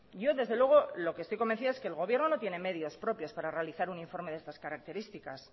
yo desde luego lo que estoy convencida es que el gobierno no tiene medios propios para realizar un informe de estas características